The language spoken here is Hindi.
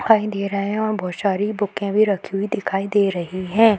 दिखाई दे रहे हैं और बहोत सारी बुकें भी रखी हुई दिखाई दे रही हैं।